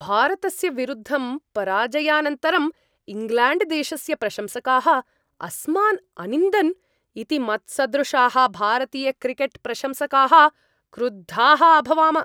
भारतस्य विरुद्धं पराजयानन्तरम् इङ्ग्लेण्ड्देशस्य प्रशंसकाः अस्मान् अनिन्दन् इति मत्सदृशाः भारतीयक्रिकेट्प्रशंसकाः क्रुद्धाः अभवाम।